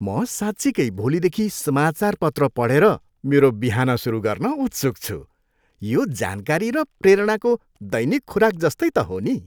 म साँच्चिकै भोलिदेखि समाचारपत्र पढेर मेरो बिहान सुरु गर्न उत्सुक छु। यो जानकारी र प्रेरणाको दैनिक खुराक जस्तै त हो नि।